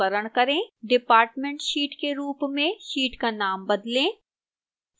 departmentsheet के रूप में sheet का नाम बदलें